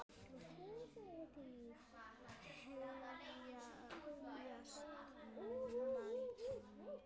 Hefjast nú mannvíg mikil.